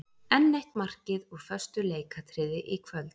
Enn eitt markið úr föstu leikatriði í kvöld.